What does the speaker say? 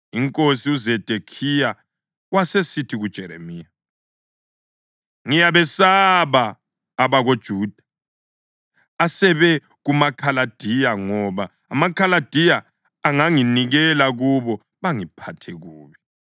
INkosi uZedekhiya wasesithi kuJeremiya, “Ngiyabesaba abakoJuda asebe kumaKhaladiya, ngoba amaKhaladiya anganginikela kubo bangiphathe kubi.”